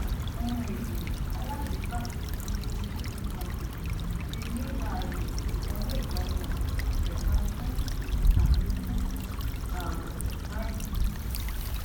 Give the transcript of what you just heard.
ohun èlò alágbèéká tuntun ti gtbank ti ní ààyè ìwọlé ìdánimọ ìtẹka fún àfikún ààbò báyìí